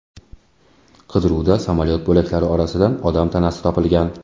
Qidiruvda samolyot bo‘laklari orasidan odam tanasi topilgan.